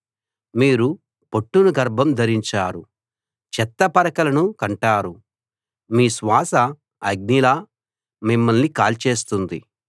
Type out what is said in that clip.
మీరు పొట్టును గర్భం ధరించారు చెత్త పరకలను కంటారు మీ శ్వాస అగ్నిలా మిమ్మల్ని కాల్చేస్తుంది